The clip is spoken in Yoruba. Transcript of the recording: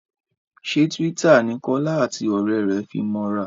ṣe Twitter ní Kola àti òré rẹ fí mọ ra?